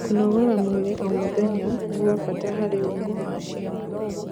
kũnogora mwĩrĩ o mũthenya nigwabata harĩ ũgima wa ciana